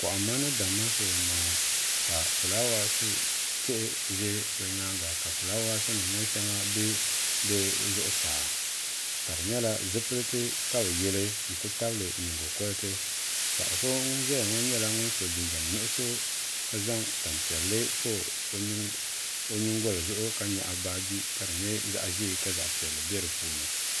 kohamma ni damma shee n boŋo ka fulaawaasi tihi ʒɛ bi nyaanga ka fulaawaasi nim ŋo shɛŋa bɛ bi zuɣusaa ka di nyɛla zipiliti ka bi yili n ti tabili nyingokoriti paɣa so ŋun ʒɛya ŋo nyɛla ŋun yɛ liiga nuɣso ka zaŋ tani piɛlli pa o nyingoli zuɣu ka nyaɣa baaji ka di nyɛ zaɣ ʒiɛ ka zaɣ piɛlli bɛ di puuni